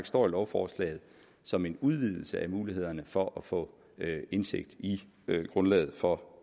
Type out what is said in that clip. står i lovforslaget som en udvidelse af mulighederne for at få indsigt i grundlaget for